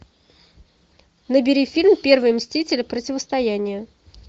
набери фильм первые мстители противостояние